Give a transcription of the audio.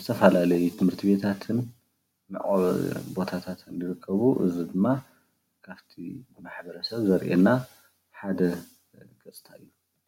ዝተፈላለዩ ትምህርትቤታትን መዕቆቢ ቦታታት ዝርከቡ እዙይ ድማ ካፍቲ ማሕበረሰብ ዘርእየና ሓደ ገፅታ እዩ።